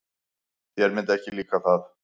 Þér myndi ekki líka það.